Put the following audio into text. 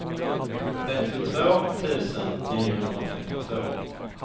trettiotvå tusen niohundrafemtiotvå